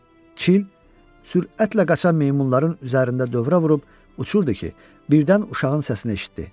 Çil sürətlə qaçan meymunların üzərində dövrə vurub uçurdu ki, birdən uşağın səsini eşitdi.